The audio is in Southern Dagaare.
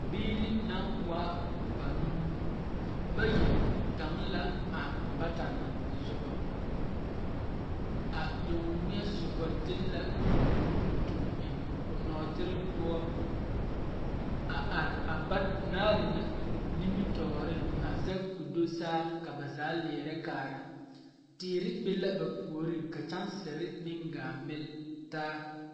Biiri naŋ waa banuu bayi gaŋ la a bata na soba a duŋweɛ soba de la o nu tuŋ eŋ o nɔɔtere poɔ a are a banaare na nimitɔɔriŋ a zɛge ko do saa ka na zaa a leɛrɛ kaara teere be la ba puoriŋ ka kyaŋsire meŋ gaa mile taa.